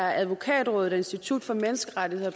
advokatrådet og institut for menneskerettigheder